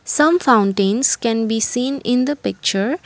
some fountains can be seen in the picture.